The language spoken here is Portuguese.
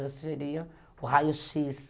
Hoje seria o raio-x.